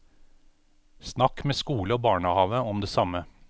Snakk med skole og barnehave om det samme.